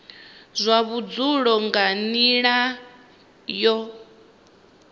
zwa vhudzulo nga nila yo